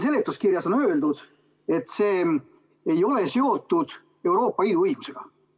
Seletuskirjas on öeldud, et see ei ole seotud Euroopa Liidu õigusega.